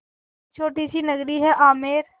एक छोटी सी नगरी है आमेर